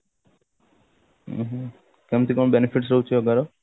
ଉଁ ହୁଁ କେମତି କଣ benefit ରହୁଛି yoga ର